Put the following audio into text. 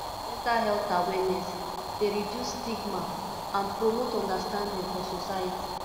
mental health awareness dey reduce stigma and promote understanding for society